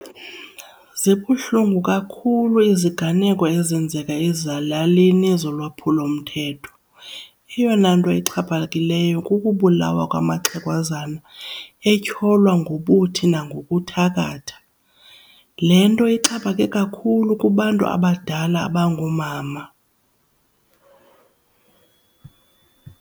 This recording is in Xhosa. Zibuhlungu kakhulu iziganeko ezenzeka ezilalini zolwaphulomthetho. Eyona nto ixhaphakileyo kukubulawa kwamaxhegwazana etyholwa ngobuthi nangokuthakatha. Le nto ixhaphake kakhulu kubantu abadala abangoomama.